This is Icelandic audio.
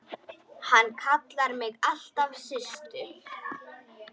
Hann kallaði mig alltaf Systu.